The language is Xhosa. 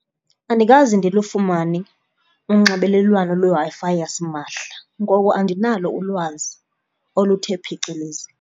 Andikaze ndilufumane unxibelelwano lweWi-Fi yasimahla ngoko andinalo ulwazi oluthe phecelezi.